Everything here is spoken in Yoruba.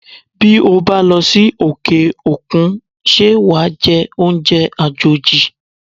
Bí ó bá losi òkè-òkun, ṣé wàá jẹ oúnjẹ àjòjì?